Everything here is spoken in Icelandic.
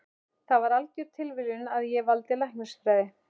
Það var algjör tilviljun að ég valdi læknisfræði.